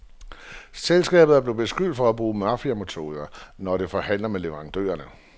Selskabet er blevet beskyldt for at bruge mafiametoder, når det forhandler med leverandørerne.